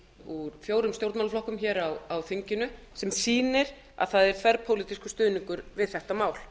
úr fjórum stjórnmálaflokkum á þinginu sem sýnir að það er þverpólitískur stuðningur við þetta mál